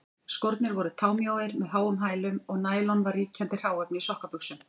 Skórnir voru támjóir með háum hælum, og nælon var ríkjandi hráefni í sokkabuxum.